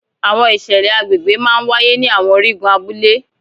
àwọn iṣẹlẹ àgbegbe máa ń waye ni àwọn origun abule